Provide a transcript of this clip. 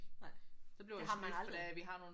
Nej. Det har man aldrig